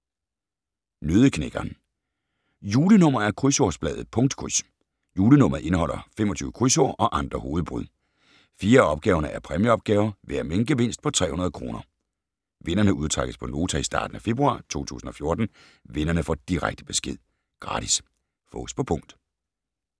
Nøddeknækkeren Julenummer af Krydsordsbladet Punktkryds. Julenummeret indeholder 25 krydsord og andre hovedbrud. 4 af opgaverne er præmieopgaver, hver med en gevinst på 300 kr. Vinderne udtrækkes på Nota i starten af februar 2014. Vinderne får direkte besked. Gratis. Fås på punkt